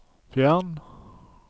fjern